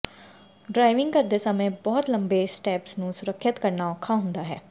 driving ਕਰਦੇ ਸਮੇਂ ਬਹੁਤ ਲੰਬੇ ਸਟ੍ਰੈਪਜ਼ ਨੂੰ ਸੁਰੱਖਿਅਤ ਕਰਨਾ ਔਖਾ ਹੁੰਦਾ ਹੈ